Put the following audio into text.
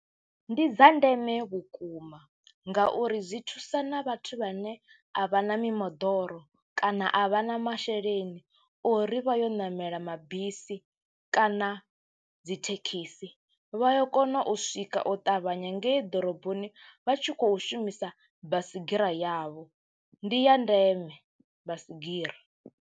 Ndi dza ndeme vhukuma ngauri zwi thusa na vhathu vhane a vha na mimoḓoro kana a vha na masheleni o ri vha yo ṋamela mabisi kana na dzi thekhisi, vha ya kona u swika u ṱavhanya ngei ḓoroboni vha tshi khou shumisa baisigira yavho ndi ya ndeme basigira.